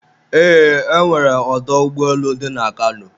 eee, e nwere ọdọ ụgbọelu dị na Kano